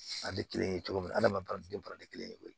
A tɛ kelen ye cogo min adamadenw denba tɛ kelen ye